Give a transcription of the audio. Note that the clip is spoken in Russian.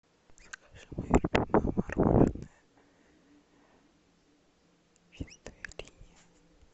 закажи мое любимое мороженое чистая линия